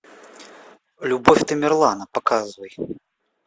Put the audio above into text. любовь тамерлана показывай